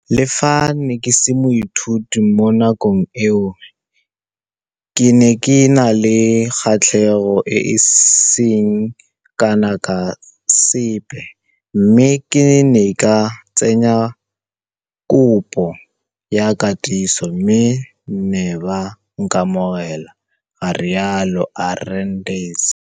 Le fa ke ne ke se moithuti mo nakong eo, ke ne ke na le kgatlhego e e seng kana ka sepe mme ke ne ka tsenya kopo ya katiso, mme ba ne ba nkamogela, ga rialo Arendse.